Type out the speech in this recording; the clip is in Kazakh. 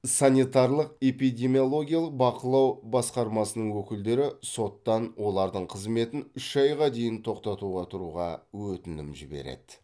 санитарлық эпидемиологиялық бақылау басқармасының өкілдері соттан олардың қызметін үш айға дейін тоқтатуға тұруға өтінім жібереді